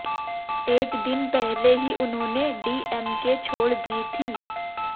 एक दिन पहले ही उन्होंने डीएमके छोड़ दी थी